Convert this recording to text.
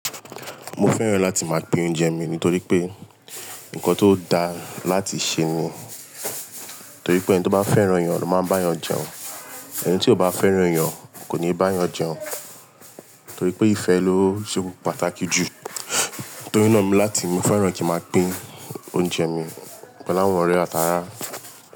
Mo fẹ́ràn láti máa pín oúnjẹ mi nítorí pé nǹkan tó dáa láti ṣe ni. Nítorí pé ẹni tó bá fẹ́ràn ayàn ló máa ń bá yàn jẹun. Ẹni tí kò bá fẹ́ràn yàn kò ní bá yàn jẹun. Nítorí pé ìfẹ́ ló ṣe pàtàkì jù. Torí náà mi láti mo fẹ́ràn kí máa pín oúnjẹ mi pẹ̀lú àwọn ọ̀rẹ́ àtàrà.